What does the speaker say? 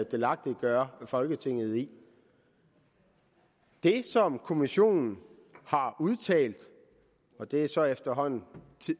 delagtiggør folketinget i det som kommissionen har udtalt og det er så efterhånden